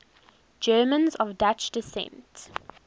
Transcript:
germans of dutch descent